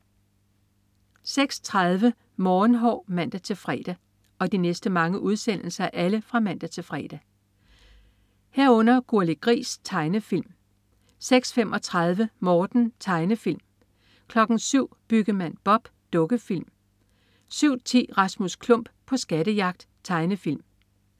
06.30 Morgenhår (man-fre) 06.30 Gurli Gris. Tegnefilm (man-fre) 06.35 Morten. Tegnefilm (man-fre) 07.00 Byggemand Bob. Dukkefilm (man-fre) 07.10 Rasmus Klump på skattejagt. Tegnefilm